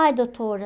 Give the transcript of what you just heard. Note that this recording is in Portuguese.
Ai, doutora...